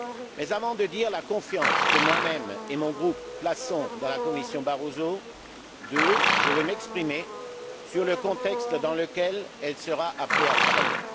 Mais avant de dire la confiance que moi même et mon groupe plaçons dans la Commission Barroso II, je veux m'exprimer sur le contexte dans lequel elle sera appelée à travailler.